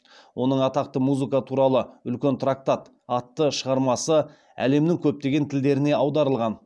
оның атақты музыка туралы үлкен трактат атты шығармасы әлемнің көптеген тілдеріне аударылған